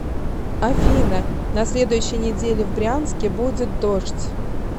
афина на следующей неделе в брянске будет дождь